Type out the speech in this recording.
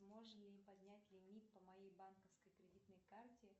можно ли поднять лимит по моей банковской кредитной карте